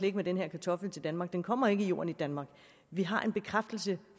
ikke med den her kartoffel til danmark den kommer ikke i jorden i danmark vi har en bekræftelse